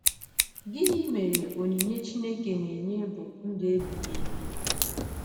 Gịnị mere, “onyinye Chineke na-enye bụ ndụ ebighị ebi”?